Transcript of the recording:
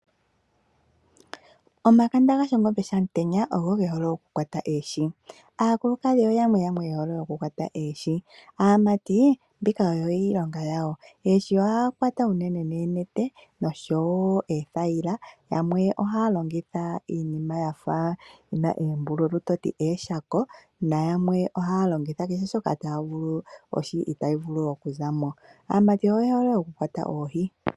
Omakanda gaShongombe yaAmutenya ogo ge hole okukwata oohi. Aakulukadhi oyamwe yamwe ye hole okukwata oohi. Aamati mbika oyo iilonga yawo. Unene oohi ohaye dhi kwata noonete noshowo oothayila. Yamwe ohaya longitha iinima yi na oombululu to ti pamwe ooshako, nayamwe ohaya longitha kehe shoka taya vulu, ohi itayi vulu okuza mo. Aamati oye hole okukwata oohi.